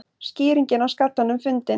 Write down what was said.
Skýringin á skallanum fundin